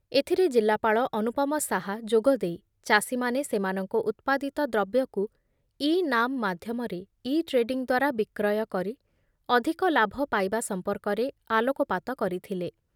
ଏଥିରେ ଜିଲ୍ଲାପାଳ ଅନୁପମ ଶାହା ଯୋଗଦେଇ ଚାଷୀମାନେ ସେମାନଙ୍କ ଉତ୍ପାଦିତ ଦ୍ରବ୍ୟକୁ ଇନାମ୍ ମାଧ୍ୟମରେ ଇଟ୍ରେଡିଂ ଦ୍ଵାରା ବିକ୍ରୟ କରି ଅଧିକ ଲାଭ ପାଇବା ସମ୍ପର୍କରେ ଆଲୋକପାତ କରିଥିଲେ ।